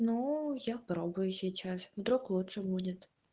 ну я пробую сейчас вдруг лучше будет